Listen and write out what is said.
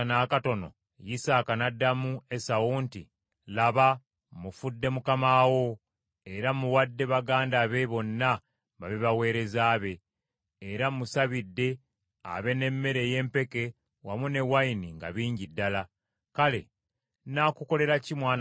Isaaka n’addamu Esawu nti, “Laba, mmufudde mukama wo, era mmuwadde baganda be bonna babe baweereza be, era mmusabidde abe n’emmere ey’empeke wamu n’envinnyo nga bingi ddala. Kale nnaakukolera ki mwana wange?”